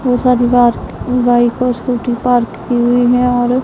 बोहोत सारी car bike और स्कूटी पार्क की हुईं हैं और--